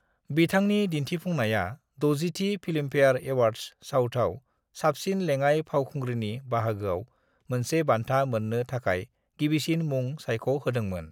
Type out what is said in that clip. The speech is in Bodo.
बिथांनि दिन्थिफुंनाया 60 थि फिल्मफेयर एवार्डस साउथआव साबसिन लेङाय फावखुंग्रीनि बाहागोआव मोनसे बान्था मोन्नो थाखाय गिबिसिन मुं सायख' होदोंमोन।